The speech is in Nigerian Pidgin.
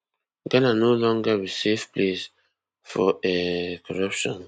ghana no longer be safe place for um corruption